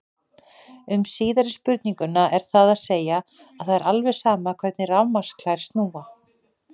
Um síðari spurninguna er það að segja að það er alveg sama hvernig rafmagnsklær snúa.